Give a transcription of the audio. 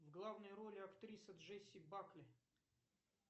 в главной роли актриса джесси бакли